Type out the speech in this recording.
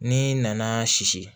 N'i nana sisi